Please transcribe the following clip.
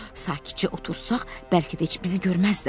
Sakitcə otursaq, bəlkə də heç bizi görməzlər.